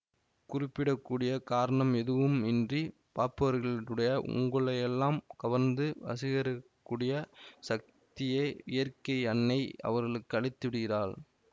குறிப்பிடக்கூடிய காரணம் எதுவும் இன்றி பார்ப்பவர்களுடைய உங்களையெல்லாம் கவர்ந்து வசீகரிக்கக் கூடிய சக்தியை இயற்கை அன்னை அவர்களுக்கு அளித்து விடுகிறாள்